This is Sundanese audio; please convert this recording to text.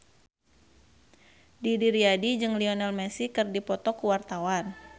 Didi Riyadi jeung Lionel Messi keur dipoto ku wartawan